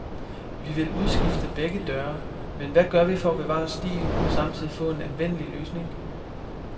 Vi vil udskifte begge døre, men hvad gør vi for at bevare stilen og samtidig få en anvendelig løsning?